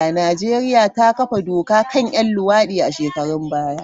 Najeriya ta kafa doka kan 'yan luwadi a shekarun baya.